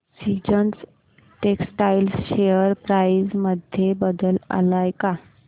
seasons textile share price मध्ये बदल आलाय का